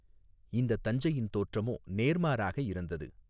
இந்தத் தஞ்சையின் தோற்றமோ நேர்மாறாக இருந்தது.